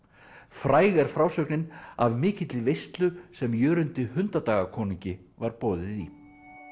fræg er frásögnin af mikilli veislu sem Jörundi var boðið í